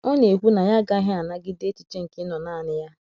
Ọ na - ekwu na ya agaghị anagide echiche nke ịnọ nanị ya.